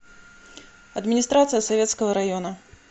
администрация советского района